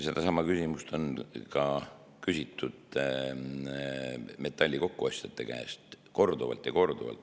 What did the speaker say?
Sedasama küsimust on küsitud ka metalli kokkuostjate käest korduvalt ja korduvalt.